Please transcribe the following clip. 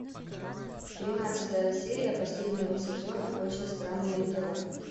тринадцатая серия последнего сезона очень странные дела